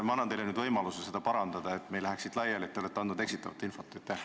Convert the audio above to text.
Ma annan teile nüüd võimaluse end parandada, et me ei läheks siit laiali teadmisega, et te olete andnud eksitavat infot.